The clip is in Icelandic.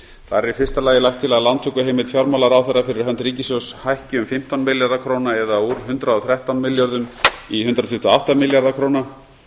í fyrsta lagi lagt til að lántökuheimild fjármálaráðherra fyrir hönd ríkissjóðs hækki um fimmtán milljarða króna það er úr hundrað og þrettán milljörðum í hundrað tuttugu og átta milljarða króna